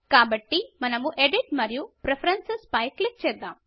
కాబట్టి మనము ఎడిట్ మరియు ప్రిఫరెన్సెస్ల పై క్లిక్ చేద్దాం